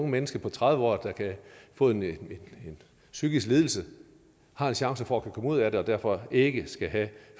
menneske på tredive år der kan få en psykisk lidelse har en chance for at kunne komme ud af det og derfor ikke skal have